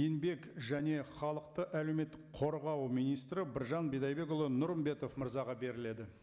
еңбек және халықты әлеуметтік қорғау министрі біржан бидайдекұлы нұрымбетов мырзаға беріледі